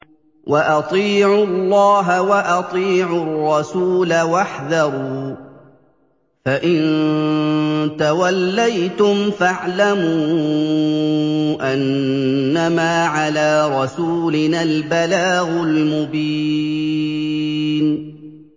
وَأَطِيعُوا اللَّهَ وَأَطِيعُوا الرَّسُولَ وَاحْذَرُوا ۚ فَإِن تَوَلَّيْتُمْ فَاعْلَمُوا أَنَّمَا عَلَىٰ رَسُولِنَا الْبَلَاغُ الْمُبِينُ